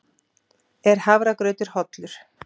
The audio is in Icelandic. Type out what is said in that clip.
Er hafragrautur hollur?